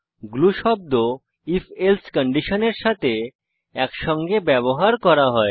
glue শব্দ if else কন্ডিশনের সাথে একসঙ্গে ব্যবহার করা হয়